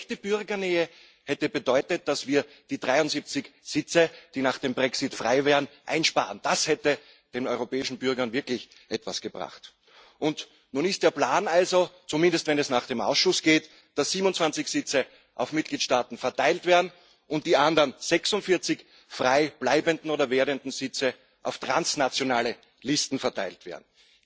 Echte Bürgernähe hätte bedeutet, dass wir die 73 Sitze, die nach dem Brexit frei werden, einsparen. Das hätte den europäischen Bürgern wirklich etwas gebracht. Nun ist der Plan also zumindest wenn es nach dem Ausschuss geht dass 27 Sitze auf Mitgliedstaaten verteilt werden und die anderen 46 frei bleibenden oder frei werdenden Sitze auf transnationale Listen verteilt werden.